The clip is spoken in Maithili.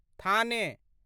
थाने